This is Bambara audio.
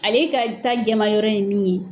Ale ka ta jamayɔrɔ in ye min ye